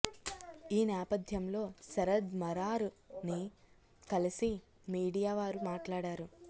ఈ నేపధ్యంలో శరద్ మరార్ ని కలిసి మీడియా వారు మాట్లాడారు